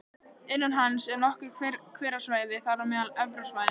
Innan hans eru nokkur hverasvæði, þar á meðal Efra svæðið